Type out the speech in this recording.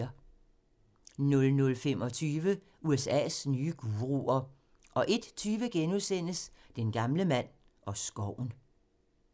00:25: USA's nye guruer 01:20: Den gamle mand og skoven *